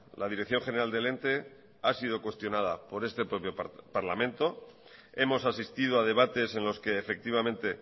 la dirección general del ente ha sido cuestionada por este propio parlamento hemos asistido a debates en los que efectivamente